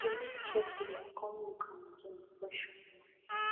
she make checklist come look am again before she comot